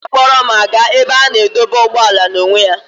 Nne m na-akpọrọ m aga n'ebe a na-adọba ụgbọala n'onwe ya.